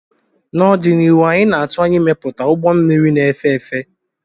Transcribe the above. n'ọdịnihu anyị na-atụ anya ịmepụta ụgbọ mmiri na-efe efe